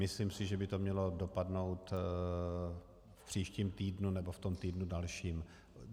Myslím si, že by to mělo dopadnout v příštím týdnu nebo v tom týdnu dalším.